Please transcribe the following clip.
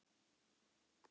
Vissu einsog